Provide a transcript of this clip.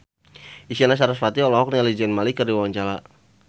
Isyana Sarasvati olohok ningali Zayn Malik keur diwawancara